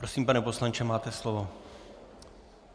Prosím, pane poslanče, máte slovo.